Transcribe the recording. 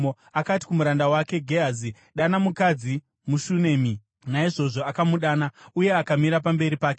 Akati kumuranda wake Gehazi, “Dana mukadzi muShunami.” Naizvozvo akamudana, uye akamira pamberi pake.